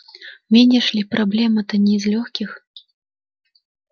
видишь ли проблема-то не из лёгких